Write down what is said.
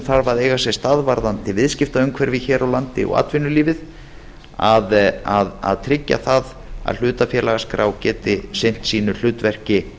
þarf að eiga sér stað varðandi viðskiptaumhverfið hér á landi og atvinnulífið að tryggja það hlutafélagaskrá geti sinnt sínu hlutverki